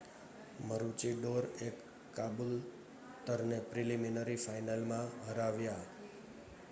મરુચીડોરએ કાબૂલતરને પ્રીલિમિનરી ફાઇનલમાં હરાવ્યા